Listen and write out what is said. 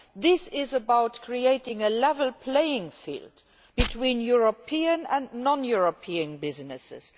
This is about creating a level playing field between European and non European businesses.